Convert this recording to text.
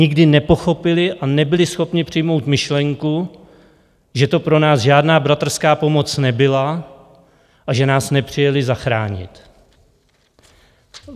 Nikdy nepochopili a nebyli schopni přijmout myšlenku, že to pro nás žádná bratrská pomoc nebyla a že nás nepřijeli zachránit.